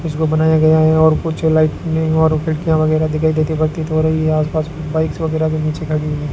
उसको बनाया गया है और कुछ लाइटनिंग और खिड़कियां वगैरह दिखाई देती प्रतीत हो रही है आसपास बाइक्स वगैराह भी नीचे खड़ी हुई है।